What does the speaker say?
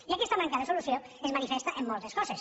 i aquesta manca de solució es manifesta en moltes coses